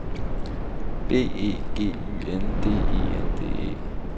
B E G Y N D E N D E